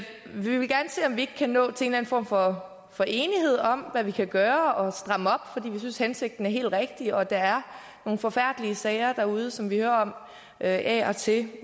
vil gerne se om vi ikke kan nå til en eller en form for for enighed om hvad vi kan gøre og stramme op fordi vi synes at hensigten er helt rigtig og der er nogle forfærdelige sager derude som vi hører om af og til